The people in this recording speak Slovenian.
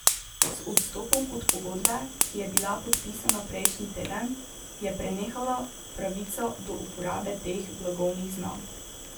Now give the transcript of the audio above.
Z odstopom od pogodbe, ki je bila podpisana prejšnji teden, je prenehala pravica do uporabe teh blagovnih znamk.